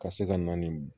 Ka se ka na ni